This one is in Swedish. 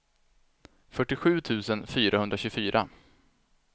fyrtiosju tusen fyrahundratjugofyra